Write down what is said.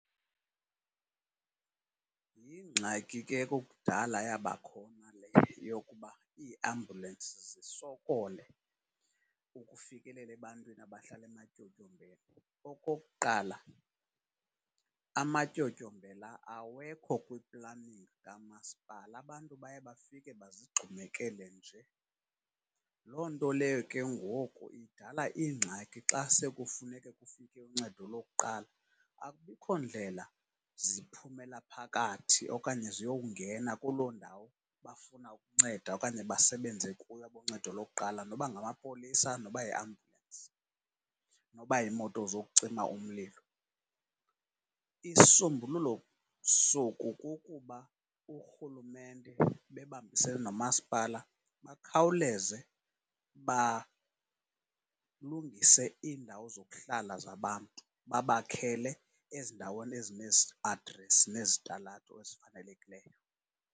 Yingxaki ke ekukudala yabakhona le yokuba iiambulensi zisokole ukufikelela ebantwini abahlala ematyotyombeni. Okokuqala, amatyotyombe la awekho kwiiplani zikamaspala abantu baye bafike bazigxumekele nje. Loo nto leyo ke ngoku idala iingxaki xa sekufuneka kufike uncedo lokuqala, akubikho ndlela ziphumela phakathi okanye ziyowungena kuloo ndawo bafuna ukunceda okanye basebenze kuyo aboncedo lokuqala, noba ngamapolisa, noba yiambulensi noba yimoto zokucima umlilo. Isisombululo soku kukuba urhulumente bebambisene nomasipala bakhawuleze balungise iindawo zokuhlala zabantu, babakhele ezindaweni ezine adresi nezitalato ezifanelekileyo.